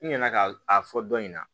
N nana ka a fɔ dɔ in na